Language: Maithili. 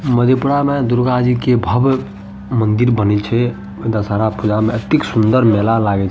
मधेपूरा में दुर्गा जी के भव्य मंदिर बने छै दशहरा पूजा में ऐतेक सुंदर मेला लागे छै।